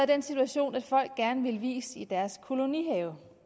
den situation at folk gerne vil vies i deres kolonihave